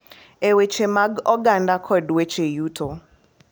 E weche mag oganda kod weche yuto.